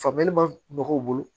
Faamuyali ma mɔgɔw bolo